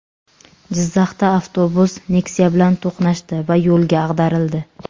Jizzaxda avtobus Nexia bilan to‘qnashdi va yo‘lga ag‘darildi.